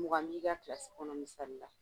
Mugan b'i ka kilasi kɔnɔ misali la